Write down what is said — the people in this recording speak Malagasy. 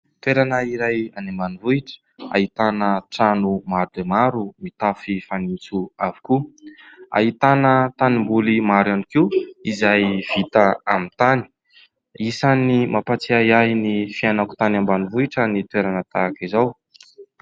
Toerana iray any ambanivohitra. Ahitana trano maro dia maro mitafo fanitso avokoa. Ahitana tanimboly maro ihany koa izay vita amin'ny tany ; isan'ny mampatsiahy ahy ny fiainako tany ambanivohitra ny toerana tahaka izao.